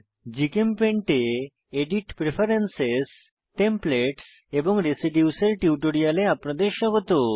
GChemPaint এ edit preference templates এবং residues এর টিউটোরিয়ালে আপনাদের স্বাগত